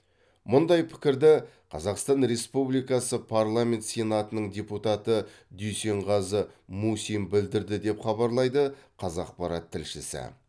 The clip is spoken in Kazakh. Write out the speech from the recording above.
мұндай пікірді қазақстан республикасы парламент сенатының депутаты дүйсенғазы мусин білдірді деп хабарлайды қазақпарат тілшісі